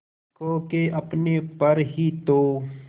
खो के अपने पर ही तो